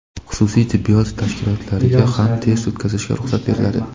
Xususiy tibbiyot tashkilotlariga ham test o‘tkazishga ruxsat beriladi.